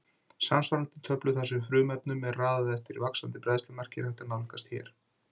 Samsvarandi töflu þar sem frumefnunum er raðað eftir vaxandi bræðslumarki er hægt að nálgast hér.